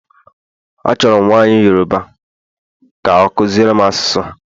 Achọrọ m nwanyị Yoruba ka akuziere m asụsụ ha